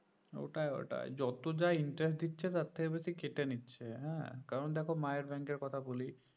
ওটাই ওটাই যত যা interest দিচ্ছে তার থেকে বেশি কেটে নিচ্ছে হ্যাঁ কারণ দেখো মায়ের bank এর কথা বলি